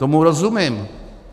Tomu rozumím.